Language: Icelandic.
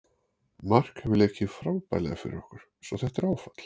Mark hefur leikið frábærlega fyrir okkur svo þetta er áfall.